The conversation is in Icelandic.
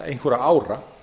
einhverra ára